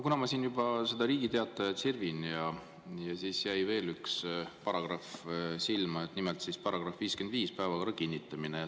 Kuna ma siin juba Riigi Teatajat sirvin, siis jäi veel üks paragrahv silma, nimelt § 55, "Päevakorra kinnitamine".